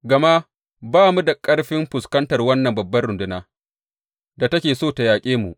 Gama ba mu da ƙarfin fuskantar wannan babbar rundunar da take so ta yaƙe mu.